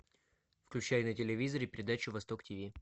включай на телевизоре передачу восток тв